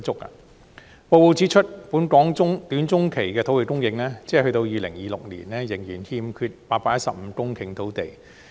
報告指出，本港短中期的土地供應，即到2026年仍然欠缺815公頃土地。